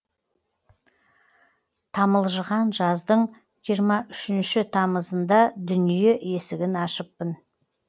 тамылжыған жаздың жиырма үшінші тамызында дүние есігін ашыппын